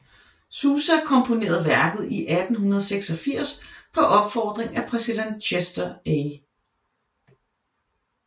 Sousa komponerede værket i 1886 på opfordring af præsident Chester A